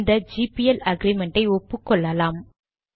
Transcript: இந்த GPL agreement ஐ ஒப்புக்கொள்ளலாம்